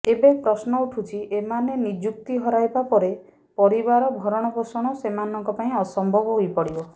ଏବେ ପ୍ରଶ୍ନ ଉଠୁଛି ଏମାନେ ନିଯୁକ୍ତି ହରାଇବା ପରେ ପରିବାର ଭରଣପୋଷଣ ସେମାନଙ୍କ ପାଇଁ ଅସମ୍ଭବ ହୋଇପଡ଼ିବ